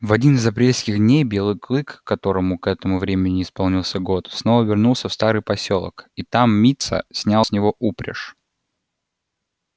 в один из апрельских дней белый клык которому к этому времени исполнился год снова вернулся в старый посёлок и там мит са снял с него упряжь